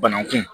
Bananku